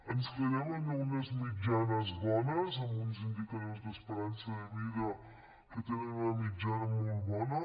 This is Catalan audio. ens quedem amb unes mitjanes bones amb uns indicadors d’esperança de vida que tenen una mitjana molt bona